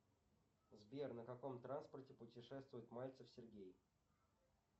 сбер на каком транспорте путешествует мальцев сергей